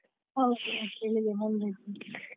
ಹೌದು ಬೆಳಿಗ್ಗೆ ಬಂದದ್ದು .